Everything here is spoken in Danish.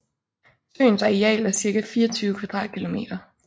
Søens areal er cirka 24 km²